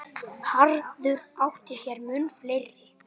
Arthur átti sér mun fleiri.